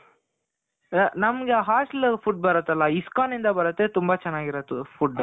ನಮ್ಗೆ hostel food ಬರುತ್ತಲ. ISKCON ಇಂದ ಬರುತ್ತೆ ತುಂಬ ಚೆನಾಗಿರುತ್ತೆ food ಅದು